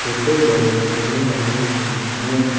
छोटे बडे पेड लगे हुए है।